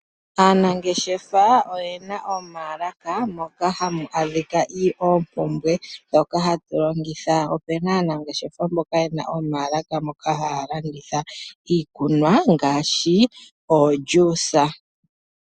Aanangeshefa oyena omaalaka moka hamu adhika oopumbwe dhoka hatu longitha. Opena aanangeshefa mboka yena omaalaka moka haya landitha iikunwa ngaashi omeya giiyimati.